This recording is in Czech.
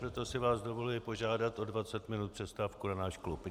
Proto si vás dovoluji požádat o 20 minut přestávku na náš klub.